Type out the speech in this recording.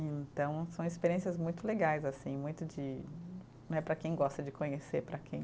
Então são experiências muito legais, assim, muito de, não é para quem gosta de conhecer, para quem